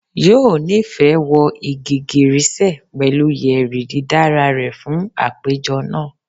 Yoo nifẹ wọ igigirisẹ pẹlu yeri didara rẹ fun apejọ naa